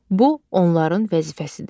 Bu onların vəzifəsidir.